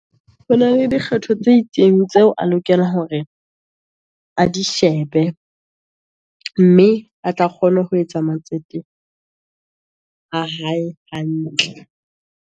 Ho na le di kgetho tse itseng, tseo a lokela hore a dishebe, mme a tla kgona ho etsa matsete a hae hantle.